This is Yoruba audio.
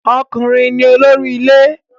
Ọkùnrin ni olórí ilé